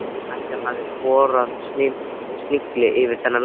Ætli hann hafi borðað snigil fyrir þennan leik?